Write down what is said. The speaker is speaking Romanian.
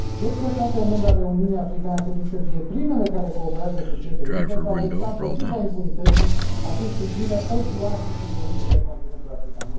Cred că statele membre ale Uniunii Africane ar trebui să fie primele care cooperează cu CPI, pentru a lupta împotriva impunității atunci când crime odioase sunt comise pe continentul african.